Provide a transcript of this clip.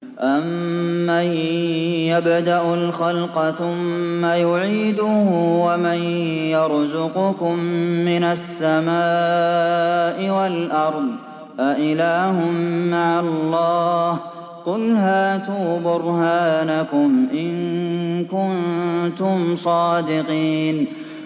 أَمَّن يَبْدَأُ الْخَلْقَ ثُمَّ يُعِيدُهُ وَمَن يَرْزُقُكُم مِّنَ السَّمَاءِ وَالْأَرْضِ ۗ أَإِلَٰهٌ مَّعَ اللَّهِ ۚ قُلْ هَاتُوا بُرْهَانَكُمْ إِن كُنتُمْ صَادِقِينَ